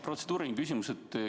Protseduuriline küsimus.